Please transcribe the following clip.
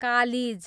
कालिज